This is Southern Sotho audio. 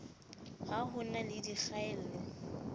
ha ho na le dikgaello